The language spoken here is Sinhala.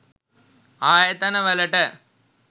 ආයතන වලට